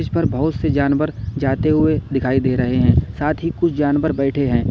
इस पर बहुत से जानवर जाते हुए दिखाई दे रहे हैं साथ ही कुछ जानवर बैठे हैं।